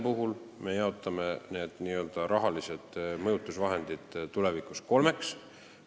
Rahalised mõjutusvahendid väärtegude korral me jaotame tulevikus kolmeks.